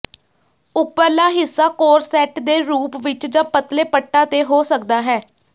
ਉੱਪਰਲਾ ਹਿੱਸਾ ਕੌਰਸੈਟ ਦੇ ਰੂਪ ਵਿੱਚ ਜਾਂ ਪਤਲੇ ਪੱਟਾਂ ਤੇ ਹੋ ਸਕਦਾ ਹੈ